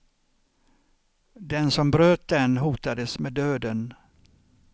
Den som bröt den hotades med döden.